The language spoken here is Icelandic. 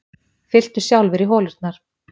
Fylltu sjálfir í holurnar